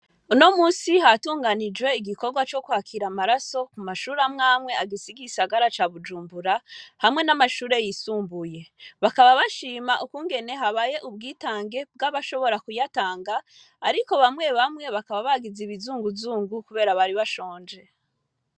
Uno munsi hatunganijwe ,igikorwa cokwakira amaraso amashure amwe amwe agize igisagara ca Bujumbura hamwe na mashure yisumbuye bakaba bashima ukugene ubwitange bwabashoboye kuyatanga ariko bamwe bamwe bakaba bagize ibizunguzungu kubera ko bari banshonje